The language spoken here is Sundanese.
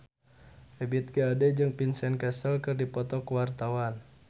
Ebith G. Ade jeung Vincent Cassel keur dipoto ku wartawan